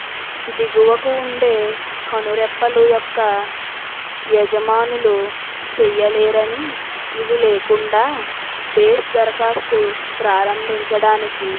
దిగువకు ఉండే కనురెప్పలు యొక్క యజమానులు చెయ్యలేరని ఇది లేకుండా బేస్ దరఖాస్తు ప్రారంభించడానికి